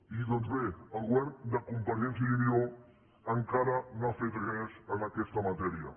i doncs bé el govern de convergència i unió encara no ha fet res en aquesta matèria